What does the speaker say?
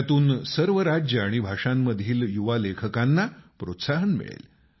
यातून सर्व राज्यं आणि भाषांमधील युवा लेखकांना प्रोत्साहन मिळेल